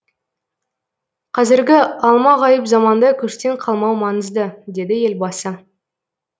қазіргі алмағайып заманда көштен қалмау маңызды деді елбасы